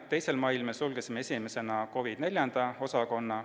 2. mail sulgesime esimesena COVID IV osakonna.